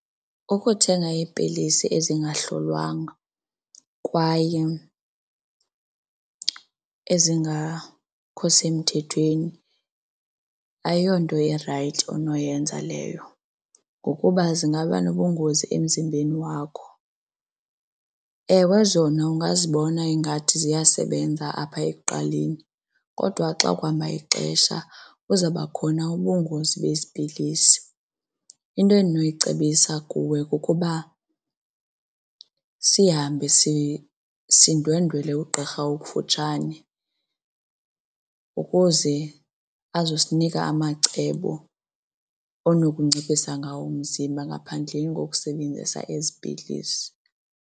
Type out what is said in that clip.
Ukuthenga iipilisi ezingahlolwanga kwaye ezingakho semthethweni ayonto irayithi onoyenza leyo ngokuba zingaba nobungozi emzimbeni wakho. Ewe, zona ungazibona ingathi ziyasebenza apha ekuqaleni kodwa xa kuhamba ixesha kuzaba khona ubungozi bezi pilisi. Into endinokuyicebisa kuwe kukuba sihambe sindwendwele ugqirha okufutshane ukuze azosinika amacebo onokunciphisa ngawo umzimba ngaphandleni kokusebenzisa ezi pilisi.